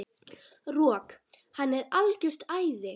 Rok, hann er algjört æði.